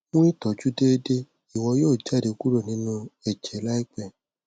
mu itọju deede iwọ yoo jade kuro ninu ẹjẹ laipẹ